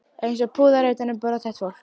Eins og púðar utan um brothætt fólk.